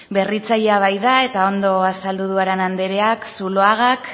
berritzailea baita eta ondo azaldu du arana andereak zuloagak